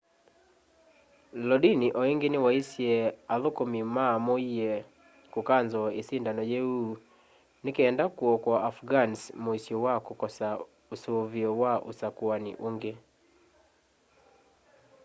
lodin o ingi niwaisye athukumi mamuie kukanzoo isindano yiu nikenda kuokoa afghans muisyo wa kukosa usuvio wa usakuani ungi